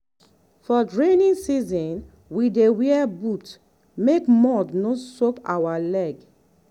for rainy season we dey wear boot make mud no soak our leg.